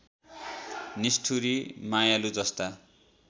निष्ठुरी मायालु जस्ता